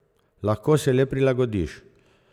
Lahko se le prilagodiš.